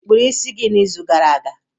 Ị kpụrụ isi gị n'izu gara aga?